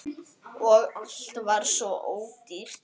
Og allt var svo ódýrt!